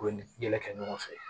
U ye yɛlɛ kɛ ɲɔgɔn fɛ